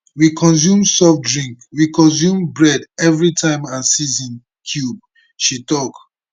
we consume soft drink we consume bread everi time and season cube she tok